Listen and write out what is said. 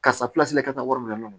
Karisa ka taa wari minɛ